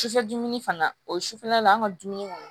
Sufɛ dumuni fana o sufɛla la an ka dumuni kɔnɔ